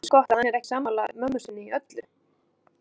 Eins gott að hann er ekki sammála mömmu sinni í öllu.